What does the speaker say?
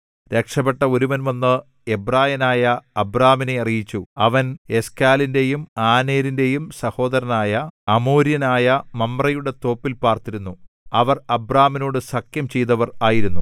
രക്ഷപ്പെട്ട ഒരുവൻ വന്നു എബ്രായനായ അബ്രാമിനെ അറിയിച്ചു അവൻ എശ്ക്കോലിന്റെയും ആനേരിന്റെയും സഹോദരനായ അമോര്യനായ മമ്രേയുടെ തോപ്പിൽ പാർത്തിരുന്നു അവർ അബ്രാമിനോടു സഖ്യം ചെയ്തവർ ആയിരുന്നു